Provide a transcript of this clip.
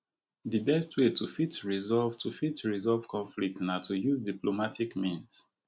di best way to fit resolve to fit resolve conflict na to use diplomatic means